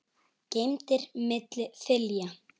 geymdir milli þilja.